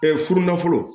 furu nafolo